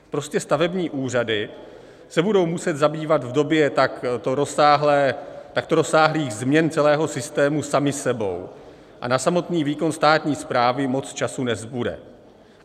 Prostě stavební úřady se budou muset zabývat v době takto rozsáhlých změn celého systému samy sebou a na samotný výkon státní správy moc času nezbude.